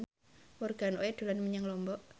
Morgan Oey dolan menyang Lombok